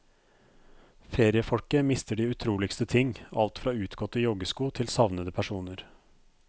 Feriefolket mister de utroligste ting, alt fra utgåtte joggesko til savnede personer.